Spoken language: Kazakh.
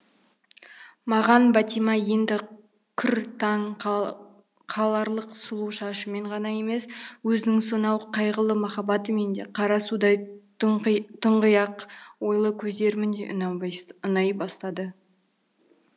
маған бәтима енді күр таң қаларлық сұлу шашымен ғана емес езінің сонау қайғылы махаббатымен де қара судай тұңғиық ойлы көздерімен де ұнай бастады